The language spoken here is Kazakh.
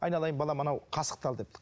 айналайын балам анау қасықты ал депті